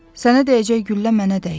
Sənə dəyəcək güllə mənə dəysin.